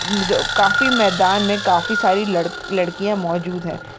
काफी मैदान में काफी सारी लड-लड्कीया मौजूद है।